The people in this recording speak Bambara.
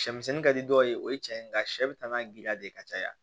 Sɛ misɛnnin ka di dɔw ye o ye tiɲɛ ye nka sɛ bɛ taa ka giriya de ka caya